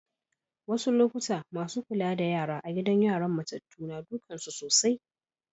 Wassu lokatai massun Kulla da yara a'gidan yaran matatu na dukan su sosai.